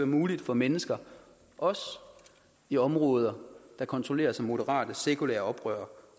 muligt for mennesker også i områder der kontrolleres af moderate sekulære oprørere